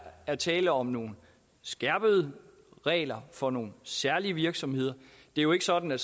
der tale om nogle skærpede regler for nogle særlige virksomheder det er jo ikke sådan at